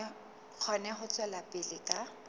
kgone ho tswela pele ka